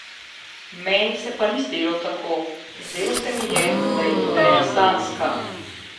Meni se pa ni zdelo tako, zdelo se mi je, da je ideja sanjska.